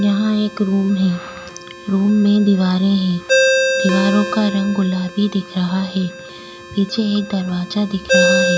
यहाँ एक रूम है रूम में दीवारें हैं दीवारों का रंग गुलाबी दिख रहा है पीछे एक दरवाजा दिख रहा है।